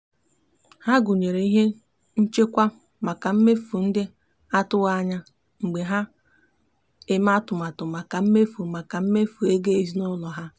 ha gụnyere ihe nchekwa maka mmefu ndị atụwaghị anya mgbe ha na-eme atụmatụ maka mmefu maka mmefu ego ezinụụlọ ha.